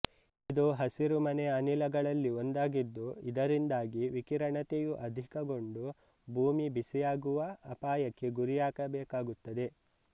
ಇದು ಹಸಿರು ಮನೆಯ ಅನಿಲಗಳಲ್ಲಿ ಒಂದಾಗಿದ್ದು ಇದರಿಂದಾಗಿ ವಿಕಿರಣತೆಯು ಅಧಿಕಗೊಂಡು ಭೂಮಿ ಬಿಸಿಯಾಗುವ ಅಪಾಯಕ್ಕೆ ಗುರಿಯಾಗಬೇಕಾಗುತ್ತದೆ